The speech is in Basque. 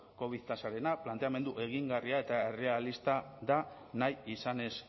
covid tasarena planteamendu egingarria eta errealista da nahi izanez